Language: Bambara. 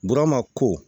Burama ko